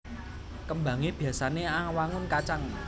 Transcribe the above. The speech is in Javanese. Kembangé biyasané awangun kacang